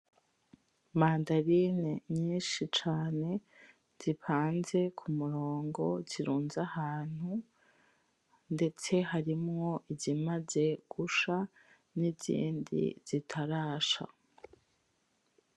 Mandarine nyishi cane zipanze k’umurongo zirunze ahantu, ndetse harimwo izimaze gusha n’izindi zitarasha.